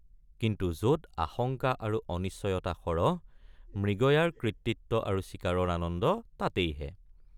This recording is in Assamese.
কিন্তু যত আশংকা আৰু অনিশ্চয়তা সৰহ মৃগয়াৰ কৃতিত্ব আৰু চিকাৰৰ আনন্দ তাতেইহে।